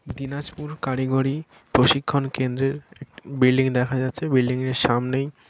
দিনাজপুর কারিগরি প্রশিক্ষণ কেন্দ্রের এক বিল্ডিং দেখা যাচ্ছে বিল্ডিং -এর সামনেই।